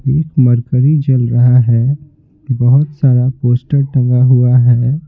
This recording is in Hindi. एक मरकरी जल रहा है बहुत सारा पोस्टर टंगा हुआ है।